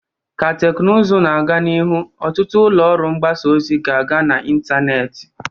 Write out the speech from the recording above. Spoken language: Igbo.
Ka teknụzụ na-aga n'ihu, ọtụtụ ụlọ ọrụ mgbasa ozi ga-aga n'ịntanetị